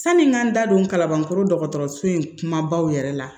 Sanni n ka n da don kalanbankɔrɔ dɔgɔtɔrɔso in kumabaw yɛrɛ la